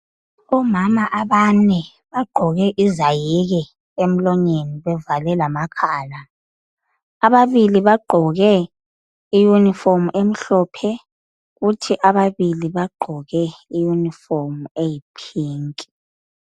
Omama abane bagqoke izayeke emlonyeni bevale lamakhala. Ababili bagqoke iyunifomu emhlophe kuthi ababili bagqoke eyiphinki.